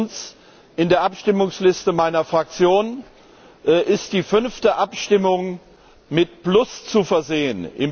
Erstens In der Abstimmungsliste meiner Fraktion ist die fünfte Abstimmung mit plus zu versehen.